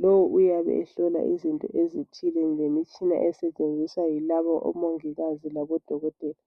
Lowu uyabe ehlola izinto ezithile ngemitshina esetshenziswa yilabo omongikazi labodokotela.